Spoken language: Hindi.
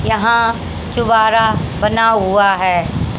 यहां चूबारा बना हुआ है।